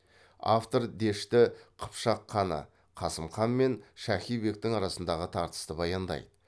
автор дешті қыпшақ ханы қасым хан мен шахи бектің арасындағы тартысты баяндайды